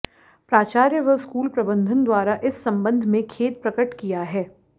प्राचार्य व स्कूल प्रबंधन द्वारा इस संबंध में खेद प्रकट किया है